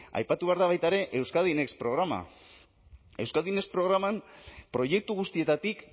aipatu behar da baita ere euskadi next programa euskadi next programan proiektu guztietatik